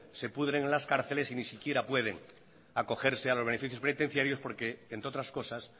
se pudren en las cárceles y ni siquiera pueden acogerse a los beneficios penitenciarios porque entre otras cosas